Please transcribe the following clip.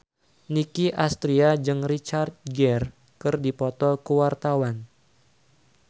Nicky Astria jeung Richard Gere keur dipoto ku wartawan